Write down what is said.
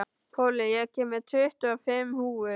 Pollý, ég kom með tuttugu og fimm húfur!